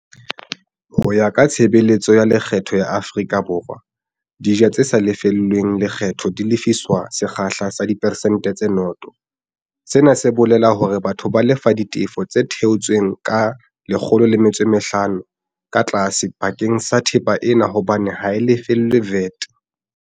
Ho ya ka Tshebeletso ya Lekgetho ya Afrika Borwa, dijo tse sa lefellweng lekgetho di lefiswa ka sekgahla sa diperesente tse 0 - sena se bolela hore batho ba lefa ditefo tse theotsweng ka diperesente tse 15 ka tlase bakeng sa thepa ena hobane ha e lefellwe VAT.